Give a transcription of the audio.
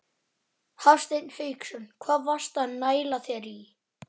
Hafsteinn Hauksson: Hvað varstu að næla þér í?